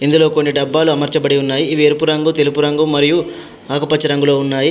ఇందులో కొన్ని డబ్బాలు అమర్చబడి ఉన్నాయి. ఇవి ఎరుపు రంగు తెలుపు రంగు మరియు ఆకుపచ్చ రంగులో ఉన్నాయి.